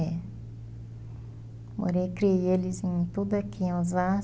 É. Morei, criei eles em tudo aqui em